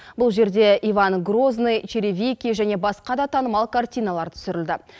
бұл жерде иван грозный черевики және басқа да танымал картиналар түсірілді